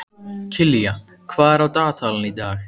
Kilían, hvað er á dagatalinu í dag?